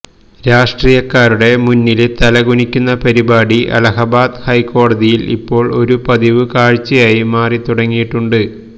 രാഷ്ട്രീയക്കാരുടെ മുന്നില് തലകുനിക്കുന്ന പരിപാടി അലഹബാദ് ഹൈക്കോടതിയില് ഇപ്പോള് ഒരു പതിവ് കാഴ്ചയായി മാറിത്തുടങ്ങിയിട്ടുണ്ട്